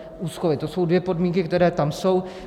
To jsou dvě podmínky, které tam jsou.